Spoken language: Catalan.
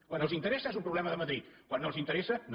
quan els interessa és un problema de madrid quan no els interessa no